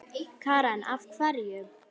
Karen: Af hverju?